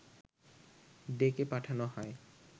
ডেকে পাঠানো হয়